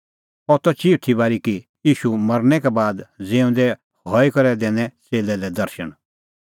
अह त चिऊथी बारी कि ईशू मरनै का बाद ज़िऊंदै हई करै दैनै च़ेल्लै लै दर्शण